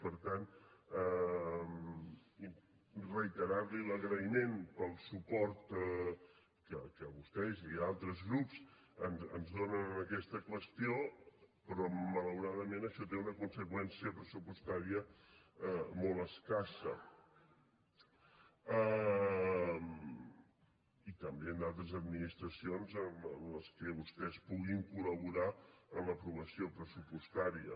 per tant reiterar li l’agraïment pel suport que vostès i altres grups ens donen en aquesta qüestió però malauradament això té una conseqüència pressupostària molt escassa i també en d’altres administracions en què vostès puguin col·laborar en l’aprovació pressupostària